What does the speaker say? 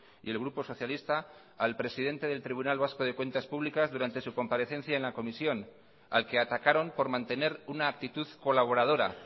y el grupo socialista al presidente del tribunal vasco de cuentas públicas durante su comparecencia en la comisión al que atacaron por mantener una actitud colaboradora